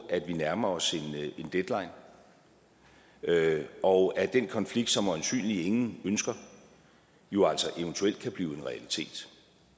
at vi nærmer os en deadline og at den konflikt som øjensynligt ingen ønsker jo altså eventuelt kan blive en realitet